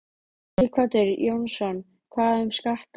Sighvatur Jónsson: Hvað um skatta?